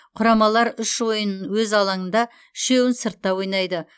құрамалар үш ойынын өз алаңында үшеуін сыртта ойнайды